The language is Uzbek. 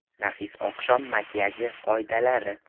Nafis oqshom makiyaji qoidalari.